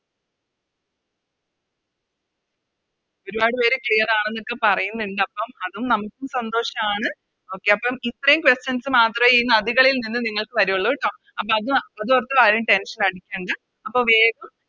ഒരുപാട് പേര് Clear ആണെന്നൊക്കെ പറയിന്നിണ്ടപ്പം അത് നമുക്കും സന്തോഷാണ് Okay അപ്പോം ഇത്രേം Questions മാത്രേ ഈ നദികളിൽ നിന്ന് നിങ്ങൾക്ക് വരുള്ളൂ ട്ടോ അപ്പൊ അത് അതോർത്ത് ആരും Tension അടിക്കണ്ട അപ്പൊ വേഗം